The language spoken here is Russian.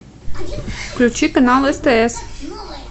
включи канал стс